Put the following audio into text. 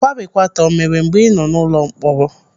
Kwarikwata o mere mgbe ị nọ n'ụlọ mkpọrọ?